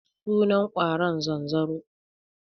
Sunan ƙwaron zanzaro.